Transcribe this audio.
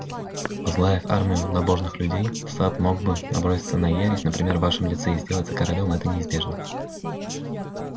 возглавив армию набожных людей сатт мог бы наброситься на ересь например в вашем лице и сделаться королём это неизбежно